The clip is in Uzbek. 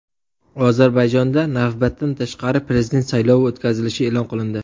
Ozarbayjonda navbatdan tashqari prezident saylovi o‘tkazilishi e’lon qilindi.